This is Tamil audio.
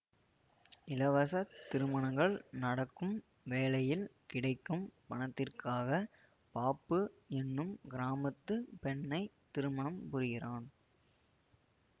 இலவசத் திருமணங்கள் நடக்கும் வேளையில் கிடைக்கும் பணத்திற்காக பாப்பு என்னும் கிராமத்து பெண்ணை திருமணம் புரிகிறான்